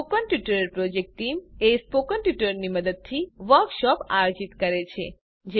spoken ટ્યુટોરિયલો project team spoken ટ્યુટોરિયલોની મદદથી વર્કશોપ આયોજિત કરે છે